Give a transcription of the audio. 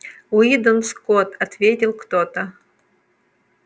уидон скотт ответил кто-то